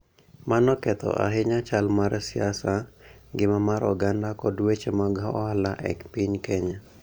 Mano ketho ahinya chal mar siasa, ngima mar oganda, kod weche mag ohala e piny Kenya.